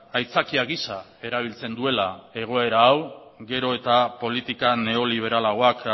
aitzakia gisa erabiltzen duela egoera hau gero eta politika neoliberalagoak